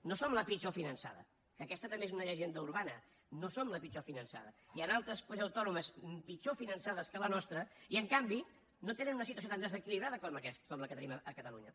no som la pitjor finançada que aquesta també és una llegenda urbana no som la pitjor finançada hi han altres comunitats autònomes pitjor finançades que la nostra i en canvi no tenen una situació tan desequilibrada com la que tenim a catalunya